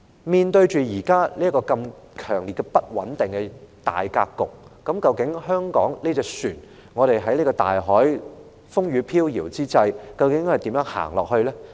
面對現時如此強烈不穩定的大格局，究竟香港這艘船在此風雨飄搖之際，要如何在大海行駛下去呢？